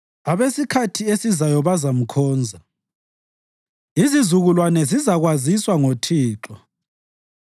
Abesikhathi esizayo bazamkhonza; izizukulwane zizakwaziswa ngoThixo.